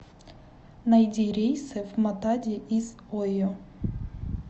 найди рейсы в матади из ойо